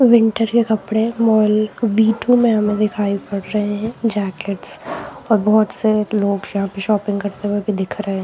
Winter के कपड़े mall V two में हमें दिखाई पड़ रहे हैं जैकेटस और बहुत से लोग यहाँ पे शॉपिंग करते हुए भी दिख रहे हैं।